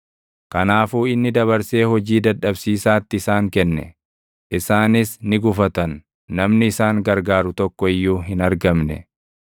Kanaafuu inni dabarsee hojii dadhabsiisaatti isaan kenne; isaanis ni gufatan; namni isaan gargaaru tokko iyyuu hin argamne.